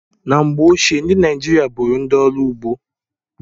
Na mgbe ochie, ndị Naịjirịa bụụrụ ndị ọrụ ugbo.